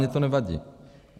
Mně to nevadí.